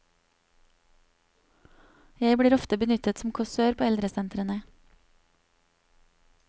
Jeg blir ofte benyttet som kåsør på eldresentrene.